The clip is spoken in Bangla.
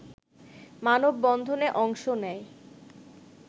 মানববন্ধনে অংশ নেয়